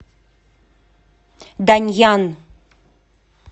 даньян